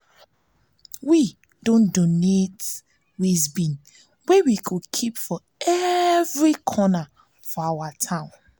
we don donate waste bin wey we go keep for every corner of our town